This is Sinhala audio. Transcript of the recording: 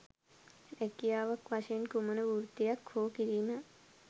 රැකියාවක් වශයෙන් කුමන වෘත්තියක් හෝ කිරීම